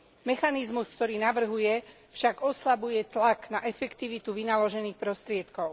Mechanizmus, ktorý navrhuje však oslabuje tlak na efektivitu vynaložených prostriedkov.